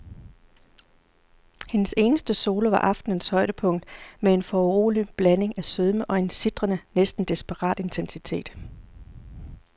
Hendes eneste solo var aftenens højdepunkt med en foruroligende blanding af sødme og en sitrende, næsten desperat intensitet.